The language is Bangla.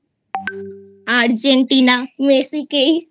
Argentina Messi কেই